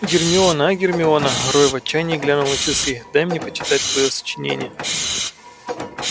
гермиона а гермиона рой в отчаянии глянул на часы дай мне почитать твоё сочинение